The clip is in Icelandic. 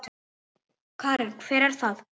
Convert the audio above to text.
Karen: Hver er það?